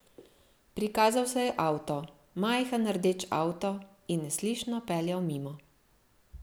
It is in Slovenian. Prikazal se je avto, majhen rdeč avto, in neslišno peljal mimo.